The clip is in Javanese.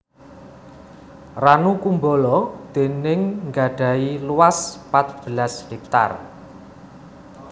Ranu Kumbolo déning gadhahi luas pat belas hektar